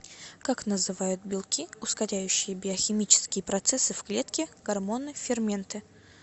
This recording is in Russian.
как называют белки ускоряющие биохимические процессы в клетке гормоны ферменты